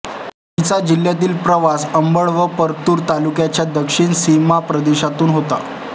तिचा जिल्ह्यातील प्रवास अंबड व परतूर तालुक्याच्या दक्षिण सीमा प्रदेशातून होतो